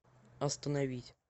остановить